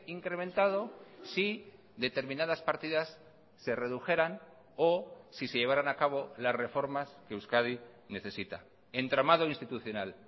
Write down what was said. incrementado si determinadas partidas se redujeran o si se llevaran a cabo las reformas que euskadi necesita entramado institucional